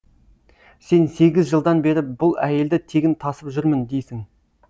сен сегіз жылдан бері бұл әйелді тегін тасып жүрмін дейсің